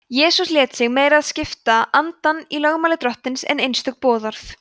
jesús lét sig meira skipta andann í lögmáli drottins en einstök boðorð